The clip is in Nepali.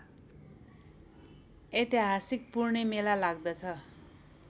ऐतिहासिक पूर्णेमेला लाग्दछ